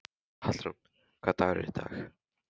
Hallrún, hvaða dagur er í dag?